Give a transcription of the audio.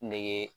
Nege